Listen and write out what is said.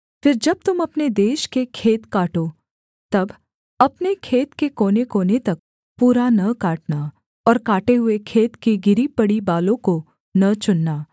फिर जब तुम अपने देश के खेत काटो तब अपने खेत के कोनेकोने तक पूरा न काटना और काटे हुए खेत की गिरी पड़ी बालों को न चुनना